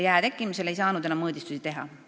Jää tekkimisel ei saanud enam mõõdistusi teha.